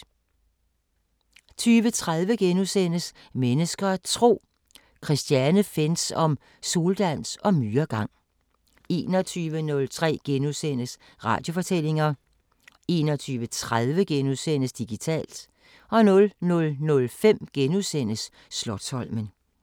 20:30: Mennesker og Tro: Christine Fentz om soldans og myregang * 21:03: Radiofortællinger * 21:30: Digitalt * 00:05: Slotsholmen *